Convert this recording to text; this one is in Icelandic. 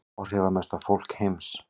Áhrifamesta fólk heims